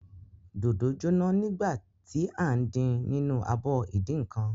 Dòdò jóná nígbà tí à ń din nínú abọ ìdínǹkan.